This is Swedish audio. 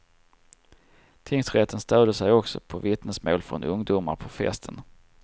Tingsrätten stöder sig också på vittnesmål från ungdomar på festen.